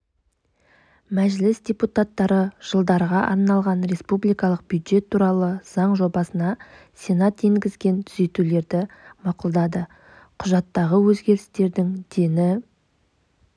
мәжіліс депутаттары жылдарға арналған республикалық бюджет туралы заң жобасына сенат енгізген түзетулерді мақұлдады құжаттағы өзгерістердің дені